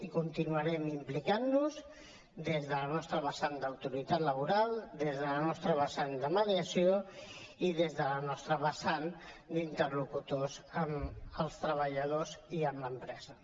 i continuarem implicant nos hi des de la nostra vessant d’autoritat laboral des de la nostra vessant de mediació i des de la nostra vessant d’interlocutors amb els treballadors i amb l’empresa